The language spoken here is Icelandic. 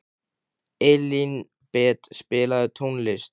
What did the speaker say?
Elínbet, spilaðu tónlist.